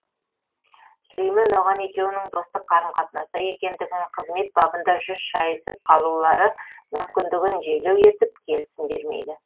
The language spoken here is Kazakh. сүлеймен оған екеуінің достық қарым қатынаста екендігін қызмет бабында жүз шайысып қалулары мүмкіндігін желеу етіп келісім бермейді